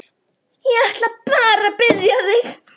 Hvernig sýnist þér eftir þá yfirferð að framkvæmdin hafi verið?